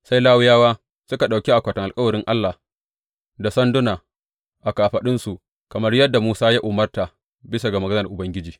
Sai Lawiyawa suka ɗauki akwatin alkawarin Allah da sanduna a kafaɗunsu, kamar yadda Musa ya umarta bisa ga maganar Ubangiji.